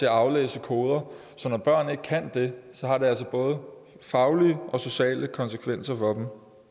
at aflæse koder så når børn ikke kan det har det altså både faglige og sociale konsekvenser for